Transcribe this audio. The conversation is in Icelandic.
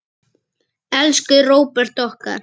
Hátíð fer að höndum ein.